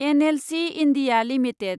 NLC India limited